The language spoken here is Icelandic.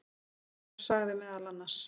Í framhaldinu sagði meðal annars